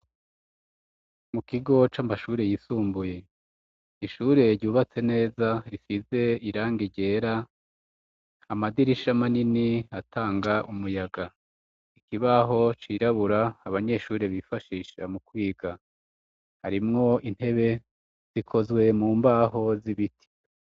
Mu kigo c'amashuri yisumbuye ishure ryubatse neza rifise irangi ryera amadirisha manini atanga umuyaga ikibaho cirabura abanyeshuri bifashisha mu kwiga harimwo intebe zikozwe mu mbaho z'ibiti.